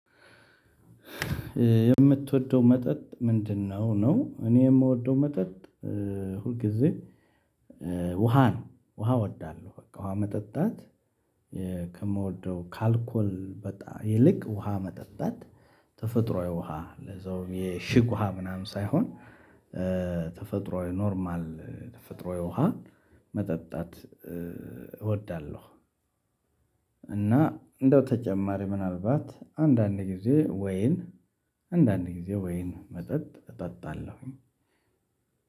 የምትወደው መጠጥ ምንድነው? ነው እኔ የምወደው መጠጥ ሁልጊዜ ጊዜ ውሃ ነው ውሃ እወዳለሁ በቃ ውሃ መጠጣት ከምወደው ከአልኮል በጣም ይልቅ ውሃ መጠጣት ተፈጥሮአዊ ውሃ ለዛውም የእሽግ ውሃ ምናምን ሳይሆን ተፈጥሮአዊ ኖርማል ተፈጥሮአዊ ውሃን መጠጣት እወዳለሁ። እና እንደው ተጨማሪ ምናልባት አንዳንድ ጊዜ ወይን አንዳንድ ጊዜ ወይን መጠጥ እጠጣለሁኝ።